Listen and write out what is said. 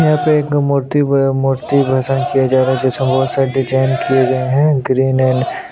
यहाँ पे एक मूर्ति मूर्ति भाषण किया जा रहा है जिसमें बहुत सारे डिज़ाइन किये गए है ग्रीन एंड --